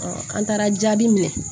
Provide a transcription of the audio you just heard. an taara jaabi minɛ